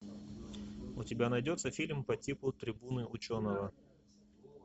у тебя найдется фильм по типу трибуны ученого